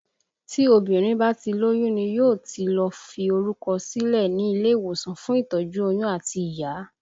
Tí obìnrin bá ti lóyún ni yóò ti lọ fi orúkọ sílẹ̀ ní ilé ìwòsàn fún ìtọ́jú oyún àti ìyá